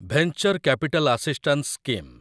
venture capital assistance scheme